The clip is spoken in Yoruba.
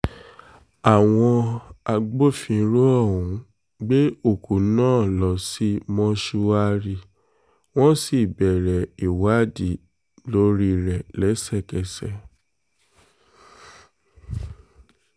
àwọn agbófinró ọ̀hún gbé òkú náà lọ sí mọ́ṣùárí wọ́n sì bẹ̀rẹ̀ ìwádìí lórí rẹ̀ lẹ́sẹ̀kẹsẹ̀